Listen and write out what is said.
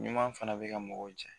Ɲuman fana bɛ ka mɔgɔw jɛ.